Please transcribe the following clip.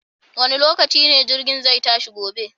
Wane lokaci ne jirgin zai tashi gobe?